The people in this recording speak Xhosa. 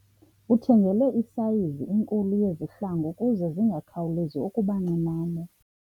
Uthengelwe isayizi enkulu yezihlangu ukuze zingakhawulezi ukuba ncinane.